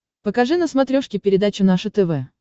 покажи на смотрешке передачу наше тв